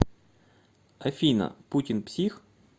афина путин псих